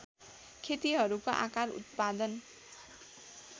खेतीहरूको आकार उत्पादन